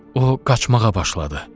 O qaçmağa başladı.